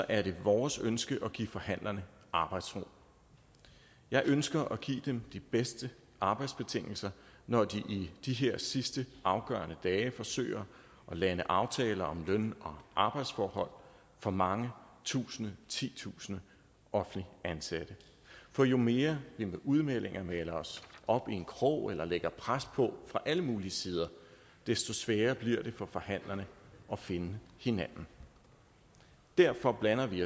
er det vores ønske at give forhandlerne arbejdsro jeg ønsker at give dem de bedste arbejdsbetingelser når de i de her sidste afgørende dage forsøger at lande aftaler om løn og arbejdsforhold for mange tusinder titusinder offentligt ansatte for jo mere vi med udmeldinger maler os op i en krog eller lægger pres på fra alle mulige sider desto sværere bliver det for forhandlerne at finde hinanden derfor blander vi